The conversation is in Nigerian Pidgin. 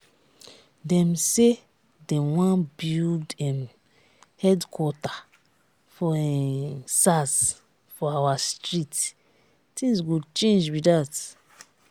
dem say dem wan build um headquarter for um sars for our street things go change be that